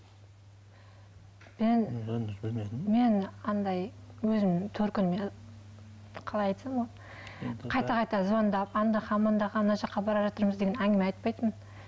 мен андай өзімнің төркініме қалай айтсам болады қайта қайта звондап мына жаққа баражатырмыз деген әңгіме айтпайтынмын